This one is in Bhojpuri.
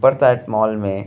फर्स्ट साइट मॉल में --